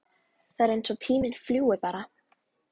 Það er eins og tíminn fljúgi bara!